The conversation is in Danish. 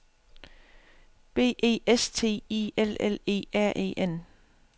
B E S T I L L E R E N